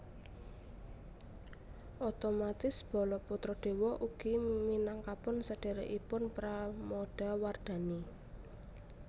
Otomatis Balaputradewa ugi minangkapun sedherekipun Pramodawardhani